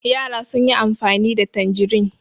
Yara sun yi amfani da tanjirin.